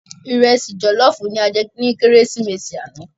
Irèsi jòlòfú làjè ni Kérésimési ànâ